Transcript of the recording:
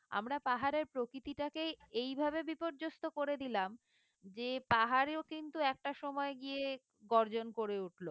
আমরা পাহাড়ের প্রকৃতিটাকেই এই ভাবে বিপর্যস্ত করে দিলাম যে পাহাড়েও কিন্তু একটা সময় গিয়ে গর্জন করে উঠলো